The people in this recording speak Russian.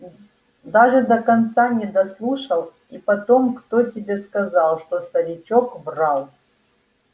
даже до конца не дослушал и потом кто тебе сказал что старичок врал